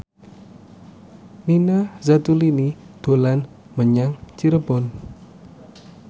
Nina Zatulini dolan menyang Cirebon